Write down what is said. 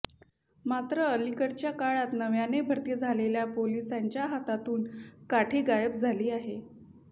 मात्र अलीकडच्या काळात नव्याने भरती झालेल्या पोलिसांच्या हातातून काठी गायब झाली आहे